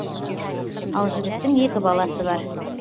ал жігіттің екі баласы бар